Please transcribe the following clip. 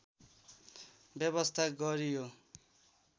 व्यवस्था गरी यो